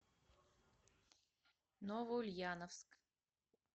новоульяновск